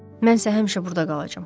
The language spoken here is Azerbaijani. Mənsə həmişə burda qalacam.